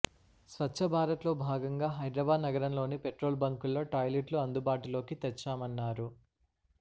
స్వచ్ఛ భారత్లో భాగంగా హైదరాబాద్ నగరంలోని పెట్రోల్ బంకుల్లో టాయిలెట్లు అందుబాటులోకి తెచ్చామన్నారు